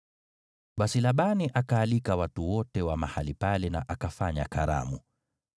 Basi Labani akaalika watu wote wa mahali pale na akafanya karamu.